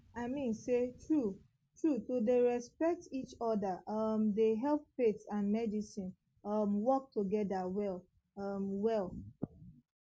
i mean say true true to dey respect each other um dey help faith and and medicine um work together well um well